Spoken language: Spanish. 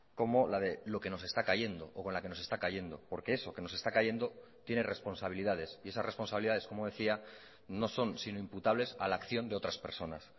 como la de lo que nos está cayendo o con la que nos está cayendo porque eso que nos está cayendo tiene responsabilidades y esas responsabilidades como decía no son sino imputables a la acción de otras personas